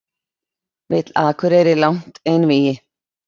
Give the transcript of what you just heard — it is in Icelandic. Vill Akureyri langt einvígi